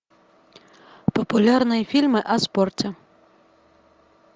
популярные фильмы о спорте